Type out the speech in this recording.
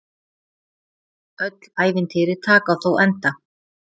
Öll ævintýri taka þó enda.